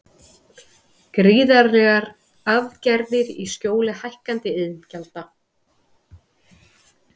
Gríðarlegar arðgreiðslur í skjóli hækkaðra iðgjalda